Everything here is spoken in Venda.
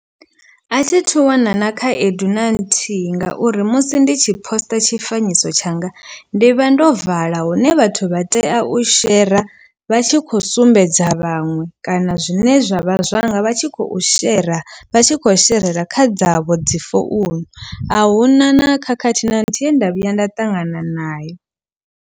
A thithu wana na khaedu na nthihi ngauri musi ndi tshi poster tshifanyiso tshanga ndi vha ndo vala hune vhathu vha tea u shera vha tshi kho sumbedza vhaṅwe kana zwine zwa vha zwanga vha tshi khou shera vha tshi kho sherela kha dzavho dzi founu ahuna na khakhathi na nthihi ye nda vhuya nda ṱangana nayo.